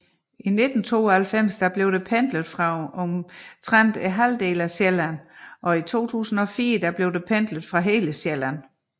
I 1992 blev der pendlet fra omtrent halvdelen af Sjælland og i 2004 blev der pendlet fra hele Sjælland